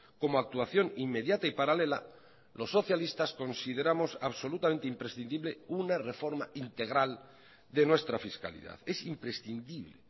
como actuación inmediata y paralela los socialistas consideramos absolutamente imprescindible una reforma integral de nuestra fiscalidad es imprescindible